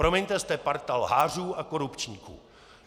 Promiňte, jste parta lhářů a korupčníků!